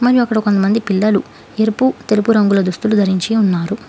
మరియు అక్కడ కొంతమంది పిల్లలు ఎరుపు తెలుపు రంగుల దుస్తులు ధరించి ఉన్నారు.